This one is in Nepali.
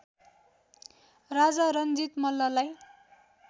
राजा रणजित मल्ललाई